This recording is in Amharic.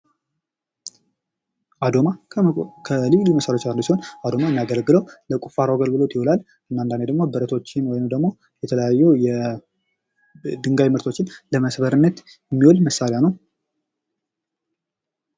አዶማ ከልዩ ልዩ መሳሪያዎች አንዱ ሲሆን አዶማ የሚያገለግለው ለቁፋሮ አገልግሎት ይውላል። እና አንዳንዴ ደግሞ የተለያዩ ብረቶችን ወይንም ደግሞ የተለያዩ ድንጋይ ምርቶችን ለመስበርነት የሚውል መሳሪያ ነው።